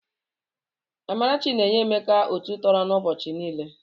Amarachi na-enye Emeka otu tọrọ na ụbọchi niile.